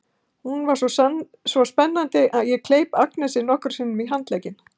Hún var svo spennandi að ég kleip Agnesi nokkrum sinnum í handlegginn.